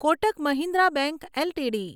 Kotak Mahindra bank LTD